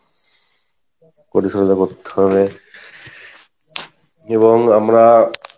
পরিচর্চা করতে হবে এবং আমরা